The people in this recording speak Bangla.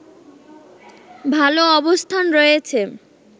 ভালো অবস্থান রয়েছে